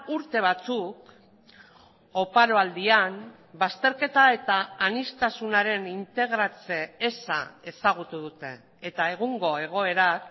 urte batzuk oparo aldian bazterketa eta aniztasunaren integratze eza ezagutu dute eta egungo egoerak